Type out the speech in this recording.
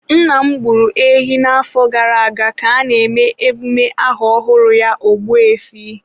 Nna m gburu ehi n'afọ gara aga ka a na-eme emume aha ọhụrụ ya Ogbu efi.